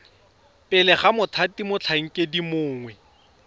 pele ga mothati motlhankedi mongwe